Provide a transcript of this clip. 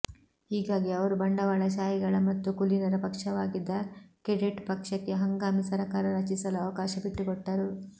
ಹೀಗಾಗಿ ಅವರು ಬಂಡವಾಳಶಾಹಿಗಳ ಮತ್ತು ಕುಲೀನರ ಪಕ್ಷವಾಗಿದ್ದ ಕೆಡೆಟ್ ಪಕ್ಷಕ್ಕೆ ಹಂಗಾಮಿ ಸರಕಾರ ರಚಿಸಲು ಅವಕಾಶ ಬಿಟ್ಟುಕೊಟ್ಟರು